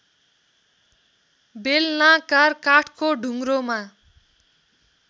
बेलनाकार काठको ढुङ्ग्रोमा